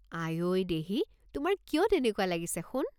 আই ঐ দেহী, তোমাৰ কিয় তেনেকুৱা লাগিছে সোণ?